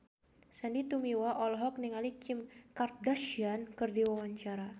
Sandy Tumiwa olohok ningali Kim Kardashian keur diwawancara